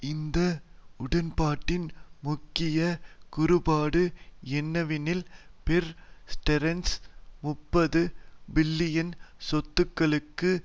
இந்த உடன்பாட்டின் முக்கிய கூறுபாடு என்னவெனில் பேர் ஸ்டேர்ன்ஸ் முப்பது பில்லியன் சொத்துக்களுக்கு